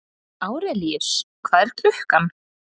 Árelíus, hvað er klukkan?